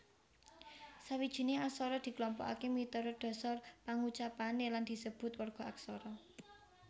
Sawijining aksara diklompokaké miturut dhasar pangucapané lan disebut warga aksara